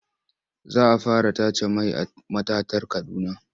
Za a fara tace mai a matatar Kaduna.